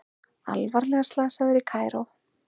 Alvarlega slasaður í Kaíró